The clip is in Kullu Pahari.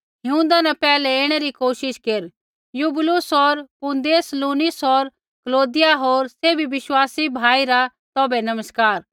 हिऊँदा न पैहलै ऐणै री कोशिश केर यूबूलुस होर पूदेंस लीनुस होर कलौदिया होर सैभी विश्वासी भाई रा तौभै नमस्कार